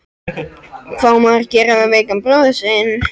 Hvað á maður að gera með veikan bróður sinn?